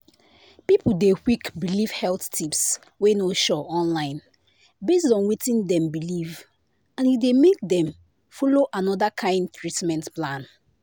people dey quick believe health tips wey no sure online based on wetin dem believe and e dey make dem follow another kind treatment plan.”